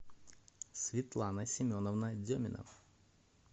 светлана семеновна деминов